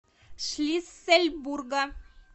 шлиссельбурга